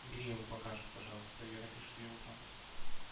убери его пока что пожалуйста я напишу тебе утром